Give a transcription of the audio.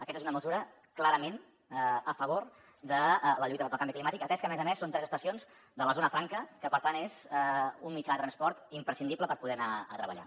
aquesta és una mesura clarament a favor de la lluita contra el canvi climàtic atès que a més a més són tres estacions de la zona franca que per tant és un mitjà de transport imprescindible per poder anar a treballar